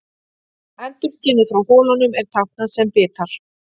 Endurskinið frá holunum er táknað sem bitar.